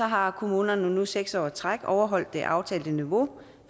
har kommunerne nu seks år i træk overholdt det aftalte niveau